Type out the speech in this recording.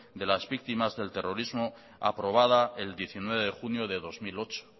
de las víctimas del terrorismo aprobada el diecinueve de junio del dos mil ocho